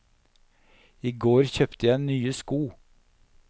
I går kjøpte jeg nye sko.